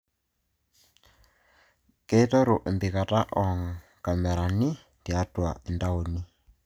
Keiteru empikata oo nkamerani tiatua intauni